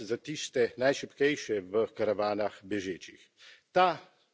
Pa tudi varnost za tiste najšibkejše v karavanah bežečih.